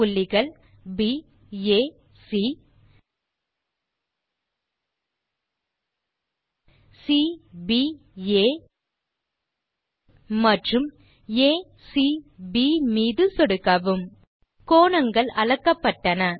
புள்ளிகள் baசி cbஆ மற்றும் acப் மீது சொடுக்கவும் கோணங்கள் அளக்கப்பட்டன